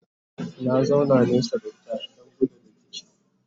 na zauna nesa da ita Dan gudun rikici